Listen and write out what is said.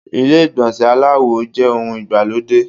Ilé ìgbọ̀nsẹ̀ aláwo jẹ́ ohun ìgbàlódé.